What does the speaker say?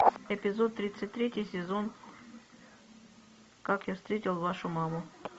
эпизод тридцать третий сезон как я встретил вашу маму